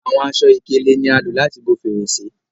Àwọn aṣọ-ikele ní a lò láti bó Fèrèsé